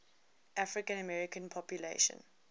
african american population